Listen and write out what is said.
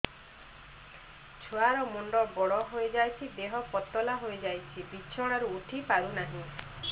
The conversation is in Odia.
ଛୁଆ ର ମୁଣ୍ଡ ବଡ ହୋଇଯାଉଛି ଦେହ ପତଳା ହୋଇଯାଉଛି ବିଛଣାରୁ ଉଠି ପାରୁନାହିଁ